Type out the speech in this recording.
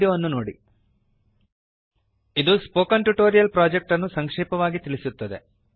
httpspoken tutorialorgWhat is a spoken tutorial ಇದು spoken tutorial project ಅನ್ನು ಸಂಕ್ಷೇಪವಾಗಿ ತಿಳಿಸುತ್ತದೆ